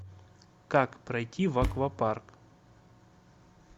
как пройти в аквапарк